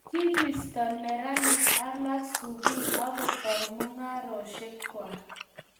kibisto neranik alak sukul akutou mung'aresiek kwach